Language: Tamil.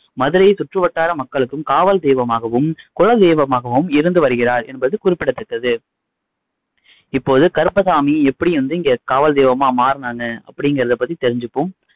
மதுரை சுற்றுவட்டார மக்களுக்கும் காவல் தெய்வமாகவும் குல தெய்வமாகவும் இருந்து வருகிறார் என்பது குறிப்பிடத்தக்கது இப்போது கருப்பசாமி எப்படி வ்ந்து இங்க காவல் தெய்வமா மாறுனாங்க அப்படிங்குறதை பத்தி தெரிஞ்சுக்குவோம்